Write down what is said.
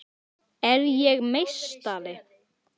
Hemmi á erfiðara með að láta á móti sér.